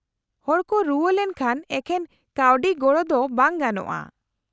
-ᱦᱚᱲ ᱠᱚ ᱨᱩᱣᱟᱹ ᱞᱮᱱᱠᱷᱟᱱ ᱮᱠᱷᱮᱱ ᱠᱟᱹᱣᱰᱤ ᱜᱚᱲᱚ ᱫᱚ ᱵᱟᱝ ᱜᱟᱱᱚᱜᱼᱟ ᱾